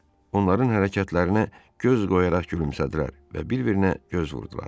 Onların hərəkətlərinə göz qoyaraq gülümsədilər və bir-birinə göz vurdular.